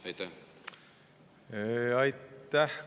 Aitäh!